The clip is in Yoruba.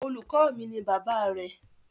Olùkọ́ mi ni bàbá rẹ̀.